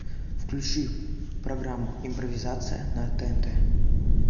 включи программу импровизация на тнт